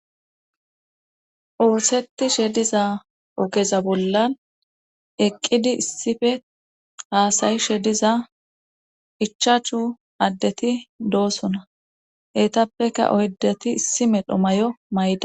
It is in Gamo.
Oosettishe diza ogeza bollan eqqidi issife haasayishe diza ichachu addeti doosona etappeka oyddati issi medha mayo mayidosoan